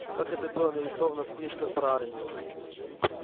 как это было нарисовано в книжках про армию